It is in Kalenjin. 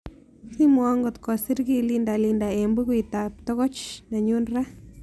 Simwowon ngot kosir kii linda Linda eng' bookuitab togoch nenyun raa